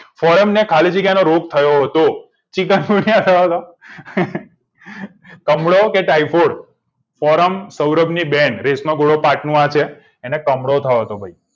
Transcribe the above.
ફોરમને ખાલી જગ્યા નો રોગ થયો હતો કમળો કે તાયફોડ ફોરમ સૌરભની બેન રેશમા એને કમળો થયો હતો